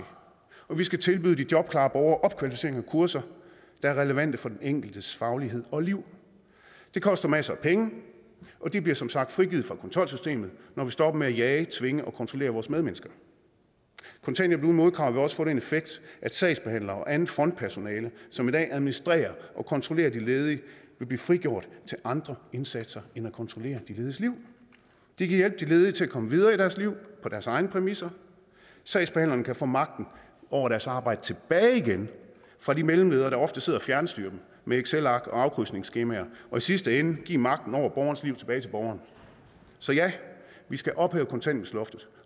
og vi skal tilbyde de jobklare borgere opkvalificering og kurser der er relevante for den enkeltes faglighed og liv det koster masser af penge og de bliver som sagt frigivet fra kontrolsystemet når vi stopper med at jage tvinge og kontrollere vores medmennesker kontanthjælp uden modkrav vil også få den effekt at sagsbehandlere og andet frontpersonale som i dag administrerer og kontrollerer de ledige vil blive frigjort til andre indsatser end at kontrollere de lediges liv det kan hjælpe de ledige til at komme videre i deres liv på deres egne præmisser sagsbehandlerne kan få magten over deres arbejde tilbage igen fra de mellemledere der ofte sidder og fjernstyrer dem med excelark og afkrydsningsskemaer og i sidste ende give magten over borgernes liv tilbage til borgerne så ja vi skal ophæve kontanthjælpsloftet